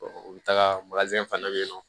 u bɛ taga fana bɛ yen nɔ